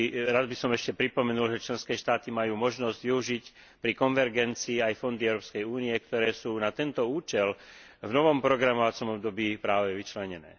Rád by som ešte pripomenul, že členské štáty majú možnosť využiť pri konvergencii aj fondy Európskej únie, ktoré sú na tento účel v novom programovacom období práve vyčlenené.